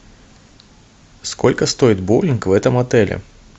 сколько стоит боулинг в этом отеле